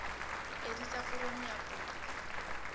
pedi tsa foromo ya kopo